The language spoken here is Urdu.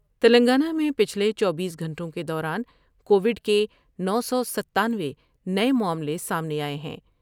تلنگانہ میں پچھلے چوبیس گھنٹوں کے دوران کووڈ کے نو سو ستانوے نئے معاملے سامنے آۓ ہیں ۔